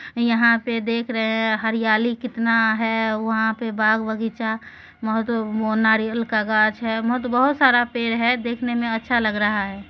यहा पे देख रहे हैं हरियाली कितना है वहां पे बाग-बगीचा मोहतो मो नारियल का गाछ हैं मोहतो बोहत सारा पेड़ है देखने मे अच्छा लग रहा है ।